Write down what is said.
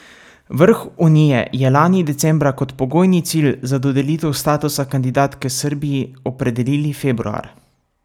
Vrh unije je lani decembra kot pogojni cilj za dodelitev statusa kandidatke Srbiji opredelili februar.